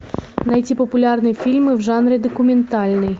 найти популярные фильмы в жанре документальный